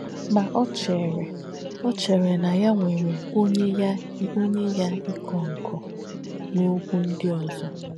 Mà ọ̀ chèrē ọ̀ chèrē nà yà nwèrē ónyè yà ìkọ̀ ǹkọ̀ n’òkwú ndí ózọ̀.